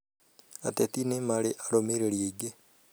Ateti nĩ marĩ arũmĩrĩri aingĩ